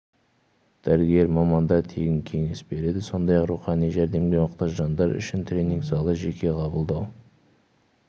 дәрігер мамандар тегін кеңес береді сондай-ақ рухани жәрдемге мұқтаж жандар үшін тренинг залы жеке қабылдау